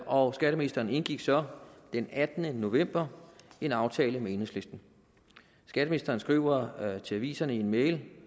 og skatteministeren indgik så den attende november en aftale med enhedslisten skatteministeren skriver til aviserne i en mail